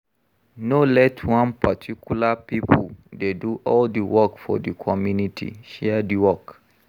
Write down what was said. No let one particular pipo dey do all di work for di community, share di work